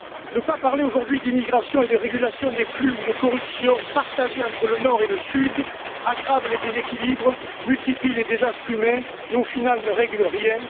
Ne pas parler aujourd'hui d'immigration et de régulation des flux ou de corruption partagée entre le Nord et le Sud aggrave les déséquilibres, multiplie les désastres humains et, au final, ne règle rien.